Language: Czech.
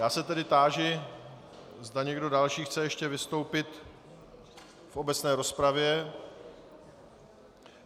Já se tedy táži, zda někdo další chce ještě vystoupit v obecné rozpravě.